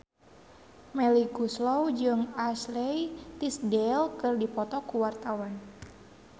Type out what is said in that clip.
Melly Goeslaw jeung Ashley Tisdale keur dipoto ku wartawan